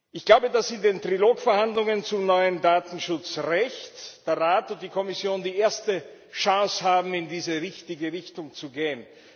Ich glaube, dass in den Trilogverhandlungen zum neuen Datenschutzrecht der Rat und die Kommission die erste Chance haben, in diese richtige Richtung zu gehen.